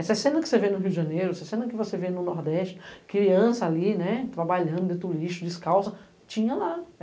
Essa cena que você vê no Rio de Janeiro, essa cena que você vê no Nordeste, criança ali trabalhando dentro do lixo, descalça, tinha lá.